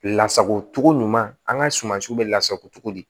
Lasago cogo ɲuman an ka sumansiw bɛ lasago cogo di